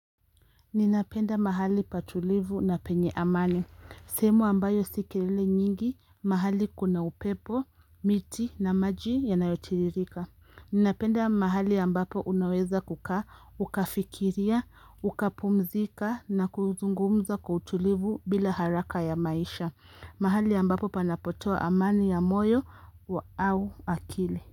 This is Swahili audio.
Ninapenda mahali patulivu na penye amani. Sehemu ambayo si kelele nyingi mahali kuna upepo, miti na maji yanayotiririka. Napenda mahali ambapo unaweza kukaa, ukafikiria, ukapumzika na kuzungumza kwa utulivu bila haraka ya maisha. Mahali ambapo panapotoa amani ya moyo au akili.